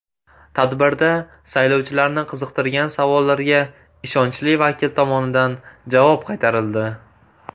Tadbirda saylovchilarni qiziqtirgan savollarga ishonchli vakil tomonidan javob qaytarildi.